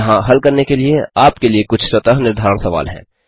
यहाँ हल करने के लिए आपके लिए कुछ स्वतः निर्धारण सवाल हैं